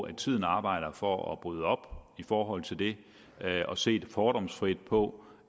at tiden arbejder for at bryde op i forhold til det og se fordomsfrit på